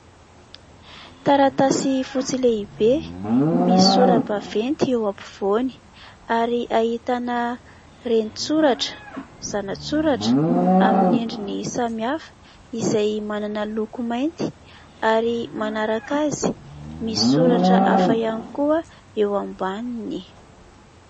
Taratasy fotsy lehibe misy sora-baventy eo ampivoany ary ahitana ren-tsoratra zana-tsoratra aminy endriny samihafa izay manana loko mainty ary manaraka azy misy soratra afa ihany koa eo ambaniny.